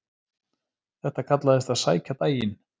Þetta kallaðist að sækja daginn.